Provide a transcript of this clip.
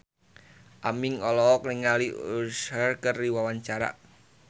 Aming olohok ningali Usher keur diwawancara